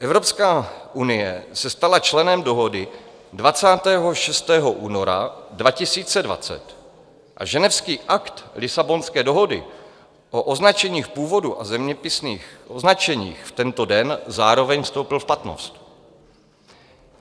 Evropská unie se stala členem dohody 26. února 2020 a Ženevský akt Lisabonské dohody o označeních původu a zeměpisných označeních v tento den zároveň vstoupil v platnost.